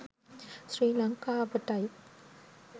ශ්‍රී ලංකාවටයි.